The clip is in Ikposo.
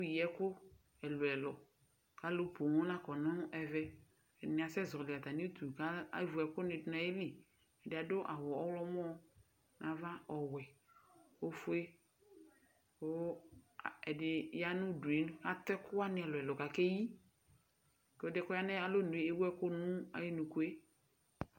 Afɔ neyi ɛkʋ ɛlʋ ɛlʋ k'alʋ pooo la kɔ nʋ ɛvɛ Ɛdini asɛzɔli atami uti ka ewu ɛkʋ dʋ n'ayili Ɛdi adʋ awʋ ɔɣlɔmɔ n'ava, ɔwɛ, ofue Kʋ ɛdi ya n'udue atʋ ɛkʋ wani ɛlʋ ɛlʋ k'akeyi kʋ ɛdi yɛ kɔya nʋ alɔnue ɛwu ɛkʋ nʋ ayʋ nuku yɛ